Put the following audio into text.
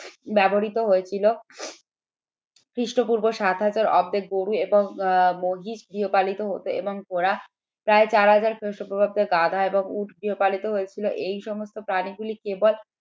ব্যবহৃত হয়েছিল খ্রিস্টপূর্ব সাত হাজার অব্দে গরু এবং মহিষ গৃহপালিত হত এবং ওরা প্রায় চার হাজার খ্রিস্টপূর্বাব্দে গাধা এবং উট গৃহপালিত হয়েছিল এই সমস্ত প্রাণীগুলি কেবল